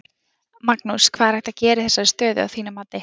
Magnús: Hvað er hægt að gera í þessari stöðu að þínu mati?